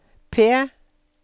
P